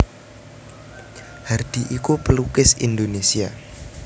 Hardi iku pelukis Indonesia